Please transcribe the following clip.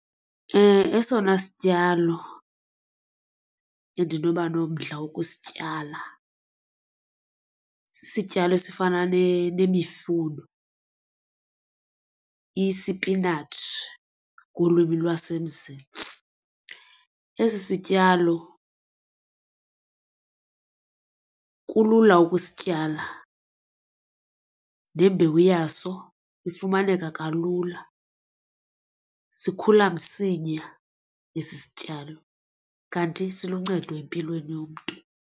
Esona sityalo endinoba nomdla wokusityala sisityalo esifana nemifuno isipinatshi ngolwimi lwasemzini. Esi sityalo kulula ukusityala, nembewu yaso ifumaneka kalula, sikhula msinya esi sityalo kanti siluncedo empilweni yomntu.